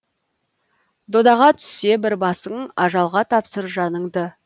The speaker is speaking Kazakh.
додаға түссе бір басың ажалға тапсыр жаныңды